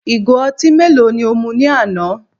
Igo ọtí mélòó ni o mu ní àná?